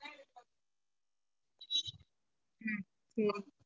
உம்